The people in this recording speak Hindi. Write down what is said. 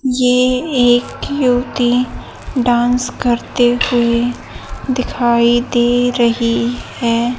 ये एक युवती डांस करते हुए दिखाई दे रही है।